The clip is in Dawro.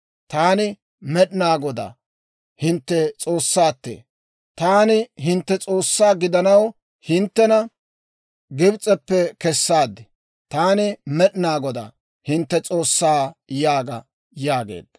Taani Med'inaa Godaa, hintte S'oossaattee; taani hintte S'oossaa gidanaw, hinttena Gibs'eppe kessaad. Taani Med'inaa Godaa, hintte S'oossaa› yaaga» yaageedda.